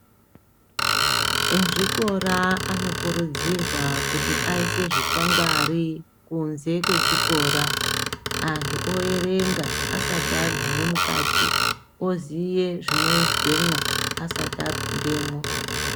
Ezvikora anokurudzirwa kuti aise zvikwangwari Kunze kwechikora antu oerenga asati aguma mukati oziye zvinoizwamwo asati apindemwo.